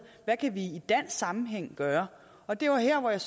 hvad kan vi i dansk sammenhæng gøre og det var her jeg